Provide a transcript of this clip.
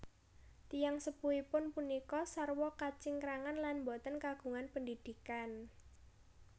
Tiyang sepuhipun punika sarwa kacingkrangan lan boten kagungan pendidikan